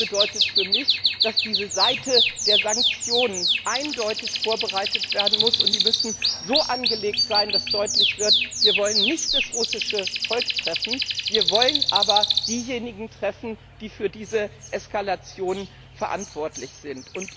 Das bedeutet für mich, dass diese Seite der Sanktionen eindeutig vorbereitet werden muss, und die müssen so angelegt sein, dass deutlich wird, wir wollen nicht das russische Volk treffen, sondern wir wollen diejenigen treffen, die für diese Eskalation verantwortlich sind.